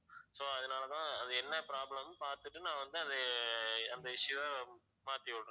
so அதனால தான் அது என்ன problem ன்னு பார்த்திட்டு நான் வந்து அது அஹ் அந்த issue அ மாத்தி விடறேன்